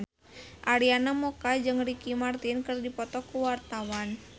Arina Mocca jeung Ricky Martin keur dipoto ku wartawan